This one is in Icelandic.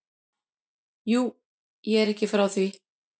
Jú, ég er ekki frá því.